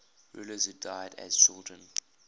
rulers who died as children